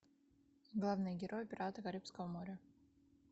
главный герой пираты карибского моря